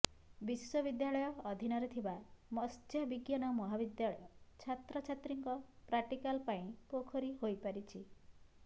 ବିଶ୍ବବିଦ୍ୟାଳୟ ଅଧୀନରେ ଥିବା ମତ୍ସ୍ୟ ବିଜ୍ଞାନ ମହାବିଦ୍ୟାଳୟ ଛାତ୍ରଛାତ୍ରୀଙ୍କ ପ୍ରାକ୍ଟିକାଲ ପାଇଁ ପୋଖରୀ ହୋଇପାରିଛି